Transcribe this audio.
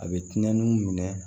A bɛ tiɲɛni minɛ